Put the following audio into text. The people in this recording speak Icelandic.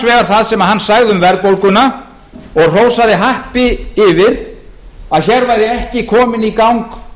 annars vegar það sem hann sagði um verðbólguna og hrósaði happi yfir að hér væri ekki kominn í gang